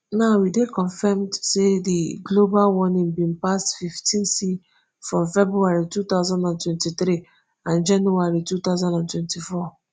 now e dey confirmed say di global warming bin pass fifteenc from february two thousand and twenty-three and january two thousand and twenty-four.